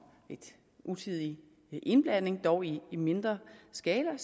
utidig indblanding dog i mindre skala